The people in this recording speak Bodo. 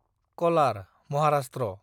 कलार (महाराष्ट्र)